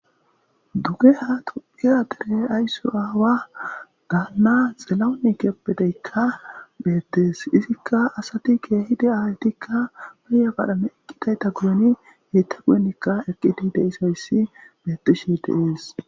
Duge ha tuphira dere ayssu aawa gaanna xelau ni keppedeykka beettees izikka asati keehi de aaytikka beya badhane eqqitayta guyeni geyta guyenikka eqqidi de isayssi bettishe deees